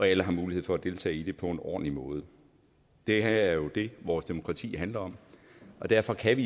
alle har mulighed for at deltage i det på en ordentlig måde det er jo det vores demokrati handler om og derfor kan